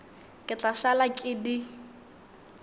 ke tla šala ke di